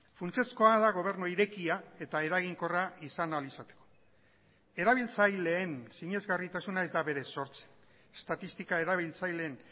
funtsezkoa da gobernu irekia eta eraginkorra izan ahal izateko erabiltzaileen sinesgarritasuna ez da berez sortzen estatistika erabiltzaileen